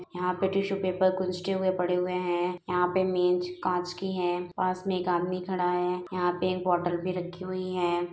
यहाॅं पे tissue paper हुए पड़े हुए हैं। यहाॅं पर मेज कांच की है। पास में एक आदमी खड़ा है। यहाॅं पर एक बोतल भी रखी हुई है।